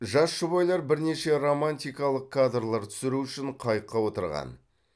жас жұбайлар бірнеше романтикалық кадрлар түсіру үшін қайыққа отырған